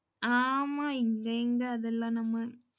ஆமா, இங்க எங்க அதெல்லாம் நம்ம